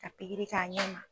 Ka pikiri k'a ɲɛ ma.